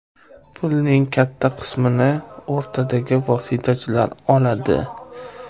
Pulning katta qismini o‘rtadagi vositachilar oladi.